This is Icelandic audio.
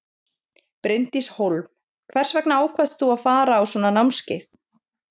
Bryndís Hólm: Hvers vegna ákvaðst þú að fara á svona námskeið?